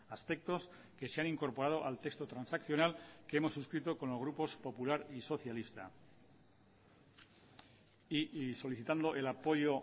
aspectos que se han incorporado al texto transaccional que hemos suscrito con los grupos popular y socialista y solicitando el apoyo